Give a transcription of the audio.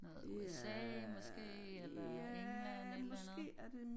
Noget USA måske eller England et eller andet?